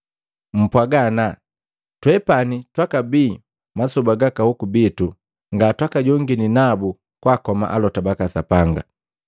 Mpwaga, ‘Ana twepani twakabia masoba gaka hoku bitu nga twakajongini nabu kwaakoma alota baka Sapanga!’